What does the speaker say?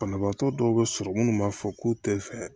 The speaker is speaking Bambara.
Banabaatɔ dɔw bɛ sɔrɔ munnu b'a fɔ k'u tɛ fɛ